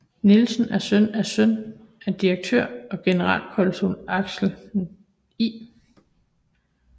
Nielsen er søn af søn af direktør og generalkonsul Axel I